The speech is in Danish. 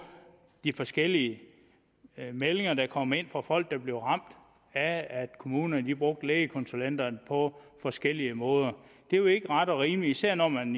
de forskellige meldinger der kom ind fra folk der blev ramt af at kommunerne brugte lægekonsulenterne på forskellige måder det er jo ikke ret og rimeligt især når man